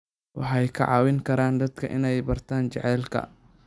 Waxay ka caawin karaan dadka inay bartaan jacaylka.